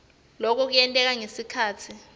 loku kuyenteka ngekhatsi